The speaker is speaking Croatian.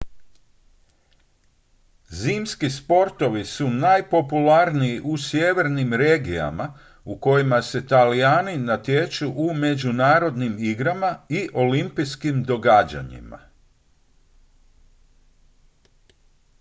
zimski sportovi su najpopularniji u sjevernim regijama u kojima se talijani natječu u međunarodnim igrama i olimpijskim događajima